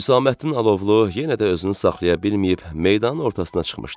Hüsamməddin Alovlu yenə də özünü saxlaya bilməyib meydanın ortasına çıxmışdı.